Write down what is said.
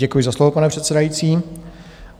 Děkuji za slovo, pane předsedající.